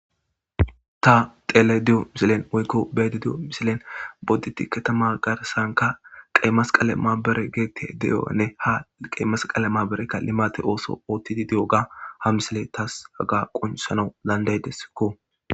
Ta xelayda di7o misilen woykko be7ayda diyo misilen boddite katama garsanka qeyimasqale maabere geete de7oanne ha qeyimasqale maaberekka limate ooso ootti di di7oyaga ha misile taas haga qoncisidi nau dandaydesikko.